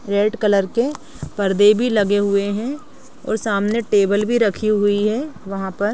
red colour के पर्दे भी लगे हुए है और सामने टेबल भी रखी हुई है वहाँ पर--